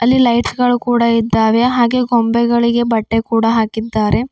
ಇಲ್ಲಿ ಲೈಟ್ಸ್ ಗಳು ಕೂಡ ಇದ್ದಾವೆ ಹಾಗೆ ಗೊಂಬೆಗಳಿಗೆ ಬಟ್ಟೆ ಕೂಡ ಹಾಕಿದ್ದಾರೆ.